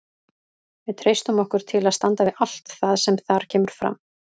Við treystum okkur til að standa við allt það sem þar kemur fram.